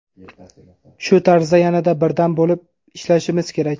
Shu tarzda yanada birdam bo‘lib ishlashimiz kerak.